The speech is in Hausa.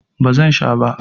Ba zan sha ba.